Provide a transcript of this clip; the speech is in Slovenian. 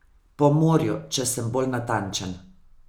Po morju, če sem bolj natančen.